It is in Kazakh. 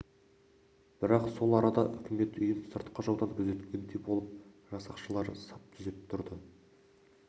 бірақ сол арада үкімет үйін сыртқы жаудан күзеткендей болып жасақшылары сап түзеп тұрды